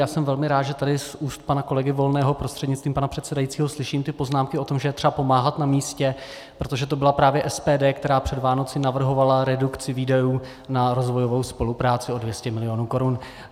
Já jsem velmi rád, že tady z úst pana kolegy Volného prostřednictvím pana předsedajícího slyším ty poznámky o tom, že je třeba pomáhat na místě, protože to byla právě SPD, která před Vánoci navrhovala redukci výdajů na rozvojovou spolupráci o 200 milionů korun.